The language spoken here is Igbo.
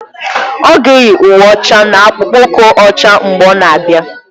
Ọ ga-eyi uwe ọcha na akpụkpọ ụkwụ ọcha mgbe ọ na-abịa